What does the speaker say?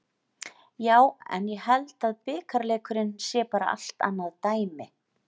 Já en ég held að bikarleikurinn sé bara allt annað dæmi.